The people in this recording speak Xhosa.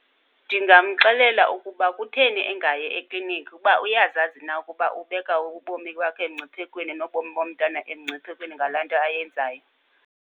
Ndingamxelela ukuba kutheni engayi ekliniki ukuba uyazazi na ukuba ubeka ubomi bakhe emngciphekweni nobomi bomntana emngciphekweni ngalaa nto ayenzayo.